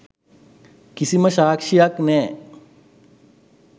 කිසිම සාක්ෂියක් නෑ.